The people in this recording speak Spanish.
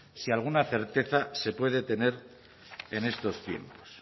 si alguna certeza se puede tener en estos tiempos